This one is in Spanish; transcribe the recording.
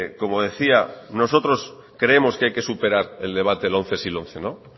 como decía nosotros creemos que hay que superar el debate lomce sí lomce no